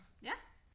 Ja